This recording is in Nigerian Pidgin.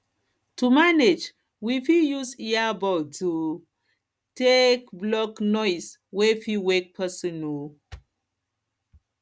to manage we fit use ear buds um take um block noise wey fit wake person um